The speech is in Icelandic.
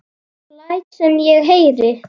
Hana, fáðu þér reyk